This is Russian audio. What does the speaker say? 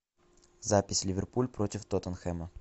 запись ливерпуль против тоттенхэма